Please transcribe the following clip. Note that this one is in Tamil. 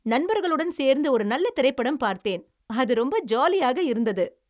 நண்பர்களுடன் சேர்ந்து ஒரு நல்ல திரைப்படம் பார்த்தேன்! அது ரொம்ப ஜாலியாக இருந்தது!